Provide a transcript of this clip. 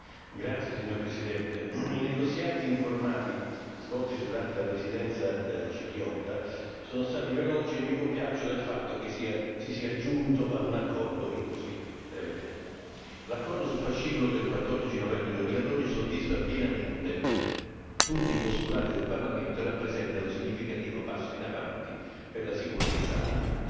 Signora Presidente, onorevoli colleghi, i negoziati informali svoltisi durante la Presidenza cipriota sono stati veloci e mi compiaccio del fatto che si sia giunto ad un accordo in così breve tempo. L'accordo sul fascicolo del 14 novembre 2012 soddisfa pienamente tutti i postulati del Parlamento e rappresenta un significativo passo in avanti per la sicurezza alimentare.